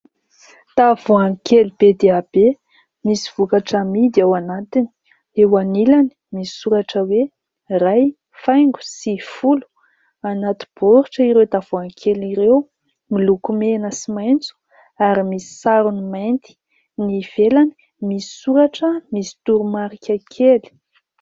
Tavoahangy kely be dia be misy vokatra amidy ao anatiny. Eo anilany misy soratra hoe : "Iray faingo sivifolo". Anaty baoritra ireo tavoahangy kely ireo, miloko mena sy maitso ary misy sarony mainty, ny ivelany misy soratra misy toromarika kely.